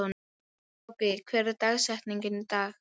Haki, hver er dagsetningin í dag?